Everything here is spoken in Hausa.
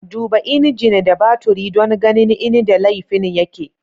Duba injin da baturi don ganin inda laifin yake.